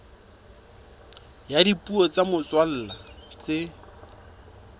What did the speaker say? ya dipuo tsa motswalla tse